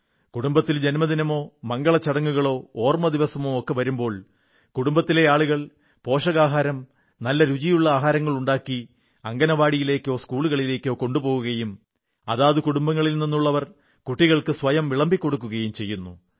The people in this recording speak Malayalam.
കുടുംബത്തിൽ ജൻമദിനമോ മംഗളചടങ്ങുകളോ ഓർമ്മദിവസമോ ഒക്കെ വരുമ്പോൾ കുടുംബത്തിലെ ആളുകൾ പോഷകാഹാരം നല്ല രുചിയുള്ള ആഹാരങ്ങളുണ്ടാക്കി അംഗനവാടിയിലേക്കോ സ്കൂളിലേക്കോ കൊണ്ടുപോകുകയും അതത് കുടുംബങ്ങളിൽ നിന്നുള്ളവർ കുട്ടികൾക്ക് സ്വയം വിളമ്പി കൊടുക്കുകയും ചെയ്യുന്നു